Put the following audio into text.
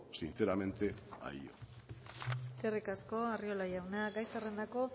sinceramente a ello eskerrik asko arriola jauna gai zerrendako